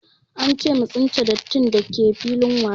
Ance mu tsince dattin dake filin wasa